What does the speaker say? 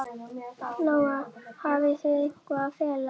Lóa: Hafið þið eitthvað að fela?